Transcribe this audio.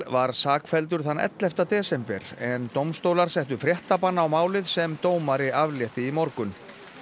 var sakfelldur þann ellefta desember en dómstólar settu á málið sem dómari aflétti í morgun